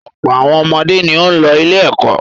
Ọ̀pọ̀ àwọn ọmọdé ni ó ń lọ ilé-ẹ̀kọ́.